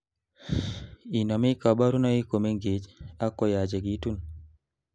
inomei kaborunoik komengech, ak koyachekitun